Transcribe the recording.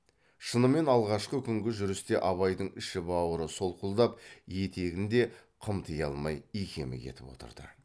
шынымен алғашқы күнгі жүрісте абайдың іші бауыры солқылдап етегін де қымти алмай икемі кетіп отырды